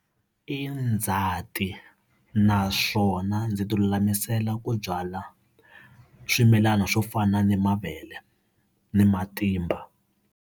I ndzhati naswona ndzi ti lulamisela ku byala swimilana swo fana ni mavele ni matimba.